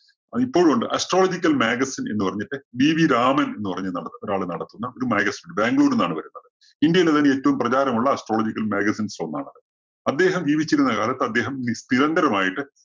ഇപ്പോഴും ഉണ്ട്. Astrological magazine എന്നു പറഞ്ഞിട്ട് GV രാമൻ എന്നു പറഞ്ഞ ഒരാള് നടത്തുന്ന ഒരു magazine ബാംഗ്ലൂരിൽ നിന്നാണ് വരുന്നത്. ഇന്ത്യയിലെ തന്നെ ഏറ്റവും പ്രചാരമുള്ള Astrological magazine സില്‍ ഒന്നാണത്. അദ്ദേഹം ജീവിച്ചിരുന്ന കാലത്ത് അദ്ദേഹം നി~നിരന്തരമായിട്ട്